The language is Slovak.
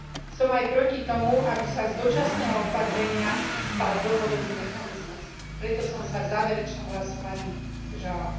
Som aj proti tomu, aby sa z dočasného opatrenia stal dlhodobý mechanizmus, preto som sa v záverečnom hlasovaní zdržala.